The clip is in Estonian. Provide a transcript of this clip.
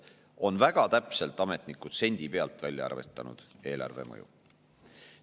Ametnikud on väga täpselt, sendi pealt, välja arvestanud eelarvemõju.